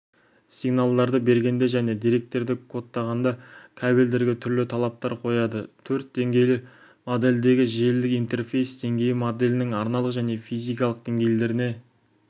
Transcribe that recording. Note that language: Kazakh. сигналдарды бергенде және деректерді кодтағанда кабельдерге түрлі талаптар қояды төрт деңгейлі модельдегі желілік интерфейс денгейі моделінің арналық және физикалық денгейлеріне